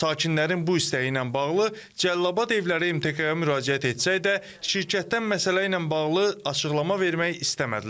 Sakinlərin bu istəyi ilə bağlı Cəlilabad evləri MTK-ya müraciət etsə də, şirkətdən məsələ ilə bağlı açıqlama vermək istəmədilər.